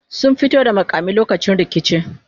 sun fito da makami lokacin rikici